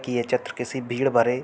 की ये चित्र किसी भीड़ भरे --